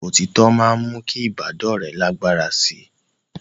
Òtítọ́ máa ń mú kí ìbádọ́rẹ̀ẹ́ lágbára sí i